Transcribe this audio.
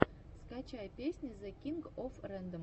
скачай песни зе кинг оф рэндом